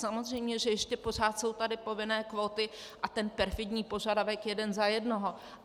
Samozřejmě že ještě pořád jsou tady povinné kvóty a ten perfidní požadavek jeden za jednoho.